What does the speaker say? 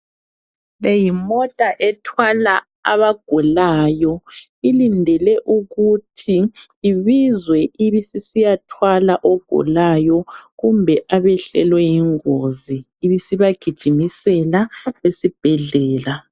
Le yimota ethwala abagulayo. Ilindele ukuthi ibizwe ibisisiyathwala ogulayo kumbe abehlelwe yingozi ibisibagijimisela esibhedlela.